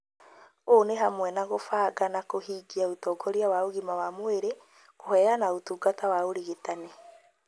ũũ nĩ hamwe na gũbanga na kũhingia ũtongoria wa ũgima wa mwĩrĩ, kũheana ũtungata wa ũrigitani,